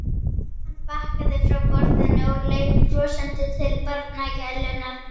Hann bakkaði frá borðinu og leit brosandi til barnagælunnar.